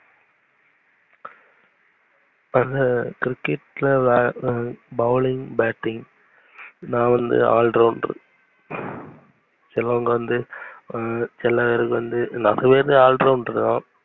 cricket லவே bowling batting நா வந்து all round அஹ் சிலவங்க வந்து, வந்து நெறைய பேர் வந்து all round தான்